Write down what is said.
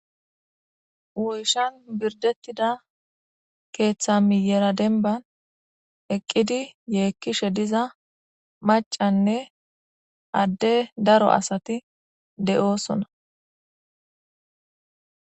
woyshan birdettida keeththa miyera denban eqqidi yeekkishe diza macanne adde daro asati de7oosona